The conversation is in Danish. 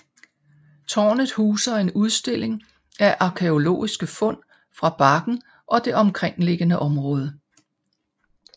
Tårnet huser en udstilling af arkæologiske fund fra bakken og det omkringliggende område